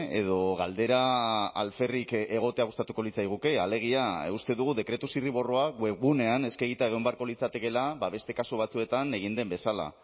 edo galdera alferrik egotea gustatuko litzaiguke alegia uste dugu dekretu zirriborroa web gunean eskegita egon beharko litzatekeela beste kasu batzuetan egin den bezala